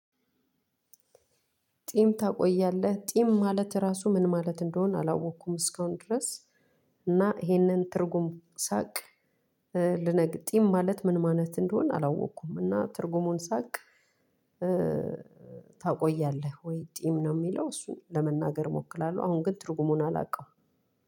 ጢም ታቆያለህ ጢም ማለት ራሱ ምን ማለት እንደሆን አላወኩም እስካሁን ድረስ። እና ይሄንን ትርጉም ሳቅ። ልነግ ጢም ማለት ምን ማለት እንደሆነ አላወኩም። እና ትርጉሙን ሳቅ። ታቆያለህ ወይ? ጢም ነው ሚለው እሱን ለመናገር እሞክራለሁ አሁን ግን ትርጉሙን አላውቀውም።